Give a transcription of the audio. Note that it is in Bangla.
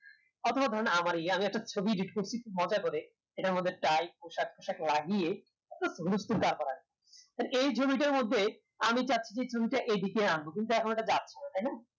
অথবা আমার এ মি কত ছবি young করছি মজা করে এটার মধ্যে edit পোশাক লাগিয়ে তো এই ছবিটার মধ্যে আমি অন্য কিন্তু এখন ইটা যাচ্ছে না তাই না